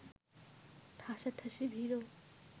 ঠাঁসাঠাঁসি ভিড়ও